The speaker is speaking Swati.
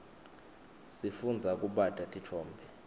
sifundza kubata titfombe